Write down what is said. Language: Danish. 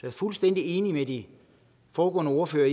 er fuldstændig enig med de foregående ordførere